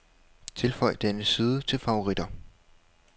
Tilføj denne side til favoritter.